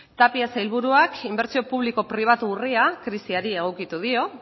tapia sailburuak inbertsio publiko pribatu urria krisiari egokitu dio